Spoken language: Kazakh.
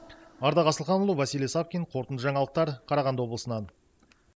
ардақ асылханұлы василий савкин қорытынды жаңалықтар қарағанды облысынан